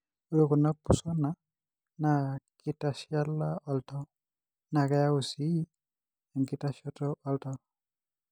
Ore kuna pusona na kitashala oltau, na keyau c enkitashoto oltau.